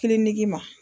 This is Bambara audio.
Kiliniki ma